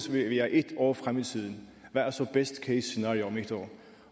vi er et år fremme i tiden hvad er så best case scenario om et år